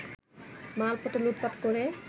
মালপত্র লুটপাট করে